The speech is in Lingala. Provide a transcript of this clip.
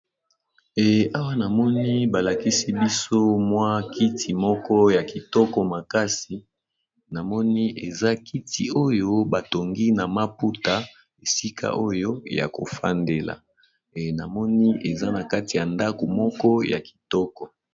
Eh awa na moni ba lakisi biso mwa kiti moko ya kitoko makasi, na moni eza kiti oyo ba tongi na maputa, esika oyo ya ko fandela , eh na moni eza na kati ya ndako moko ya kitoko .